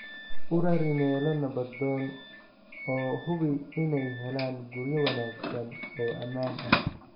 U rari meelo nabdoon oo hubi inay helaan guryo wanaagsan oo ammaan ah.